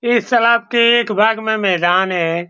ये के एक भाग में मैदान है।